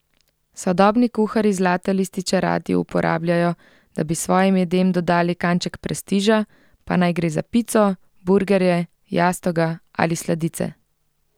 Sodobni kuharji zlate lističe radi uporabljajo, da bi svojim jedem dodali kanček prestiža, pa naj gre za pico, burgerje, jastoga ali sladice.